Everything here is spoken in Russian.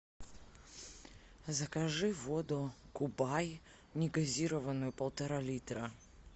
закажи воду кубай негазированную полтора литра